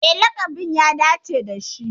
E, laƙabin ya dace da shi.